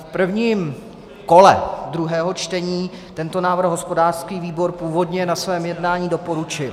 V prvním kole druhého čtení tento návrh hospodářský výbor původně na svém jednání doporučil.